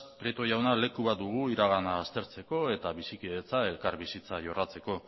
prieto jauna leku bat dugu iragana aztertzeko eta bizikidetza elkarbizitza jorratzeko